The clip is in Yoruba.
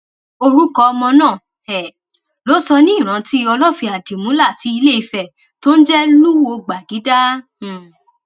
orúkọ ọmọ náà um ló sọ ní ìrántí olófin àdìmúlà ti iléìfẹ tó ń jẹ lúwo gbàgìdá um